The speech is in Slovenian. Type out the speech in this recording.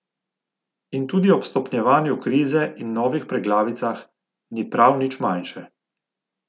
In tudi ob stopnjevanju krize in novih preglavicah ni prav nič manjše.